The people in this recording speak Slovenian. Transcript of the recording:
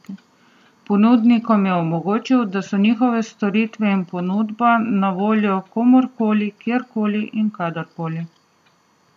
Ponudnikom je omogočil, da so njihove storitve in ponudba na voljo komurkoli, kjerkoli in kadarkoli.